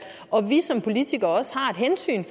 og om vi som politikere ikke også har et hensyn